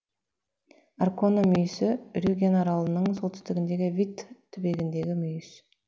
аркона мүйісі рюген аралының солтүстігіндегі витт түбегіндегі мүйіс